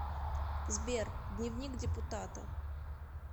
сбер дневник депутата